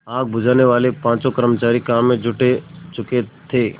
आग बुझानेवाले पाँचों कर्मचारी काम में जुट चुके थे